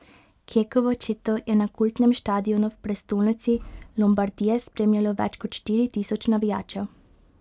Kekovo četo je na kultnem štadionu v prestolnici Lombardije spremljajo več kot štiri tisoč navijačev.